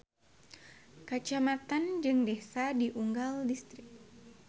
Kacamatan jeung desa di unggal distrik.